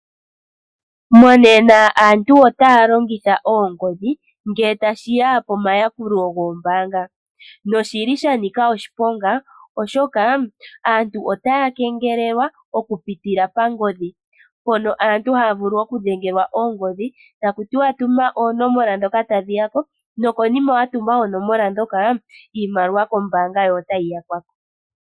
Monena aantu otaya longitha oongodhi ngele tashi ya komayakulo gombanga, noshili sha nika oshiponga, oshoka aantu otaya kengelelwa oku pitila pangodhi mpono aantu haya vulu okudhengelwa ongodhi taku tiwa tuma onomola ndhoka tadhi ya ko nokonima wa tuma oonomola ndhoka iimaliwa kombanga yo otayi yakwa ko.